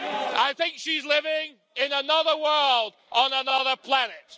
I think she's living in another world, on another planet.